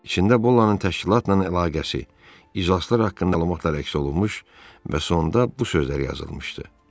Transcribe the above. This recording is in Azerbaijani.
İçində Bollanın təşkilatla əlaqəsi, iclaslar haqqında məlumatlar əks olunmuş və sonda bu sözlər yazılmışdı.